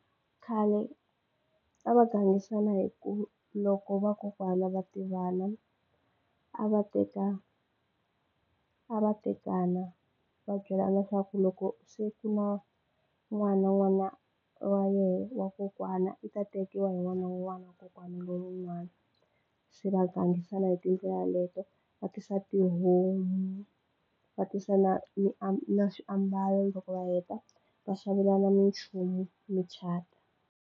Khale a va gangisana hi ku loko vakokwana va tivana a va teka a va tekana va byelana swa ku loko n'wana n'wana wa yehe wa kokwana i ta tekiwa hi n'wana wa kokwani lowun'wana se va gangisana hi tindlela leto va tisa tihomu va tisa na ni na swiambalo loko va heta va xavelana minchumu .